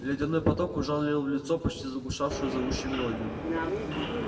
ледяной поток ужалил в лицо почти заглушавшую зовущую мелодию